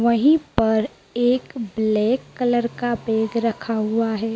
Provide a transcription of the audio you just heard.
वहीं पर एक ब्लैक कलर का बेग रखा हुआ है।